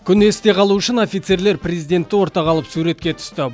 күн есте қалуы үшін офицерлер президентті ортаға алып суретке түсті